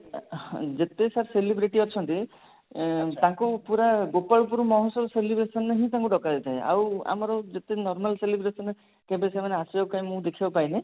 ଅ ହଁ ଯେତେ sir celebrity ଅଛନ୍ତି ଉଁ ତାଙ୍କୁ ପୁରା ଗୋପାଳପୁର ମହୋତ୍ସବ celebration ରେ ହିଁ ତାଙ୍କୁ ଡକାଯାଇଥାଏ ଆଉ ଆମର ଯେତିକି normal celebration ରେ କେବେ ସେମାନେ ଆସିବାର କାଇଁ ମୁଁ ଦେଖିବାକୁ ପାଇନି